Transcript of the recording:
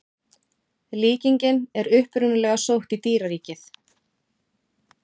Líkingin er upprunalega sótt í dýraríkið.